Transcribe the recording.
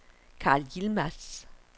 Karl Yilmaz